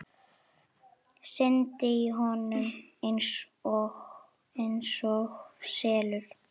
Syndi í honum einsog selur.